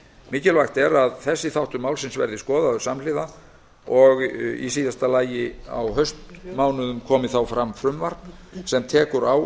mikilvægt er að þessi þáttur málsins verði skoðaður samhliða og að í síðasta lagi á haustmánuðum komi fram frumvarp sem tekur á